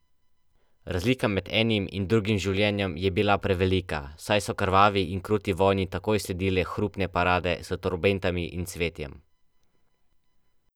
Razlika med enim in drugim življenjem je bila prevelika, saj so krvavi in kruti vojni takoj sledile hrupne parade s trobentami in cvetjem.